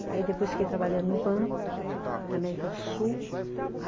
Aí depois fiquei trabalhando no banco, na América do Sul.